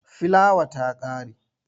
Filawa ta ƙare.